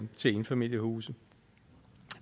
til enfamiliehuse